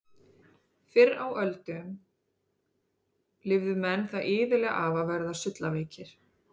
Fyrr á árum og öldum lifðu menn það iðulega af að verða sullaveikir.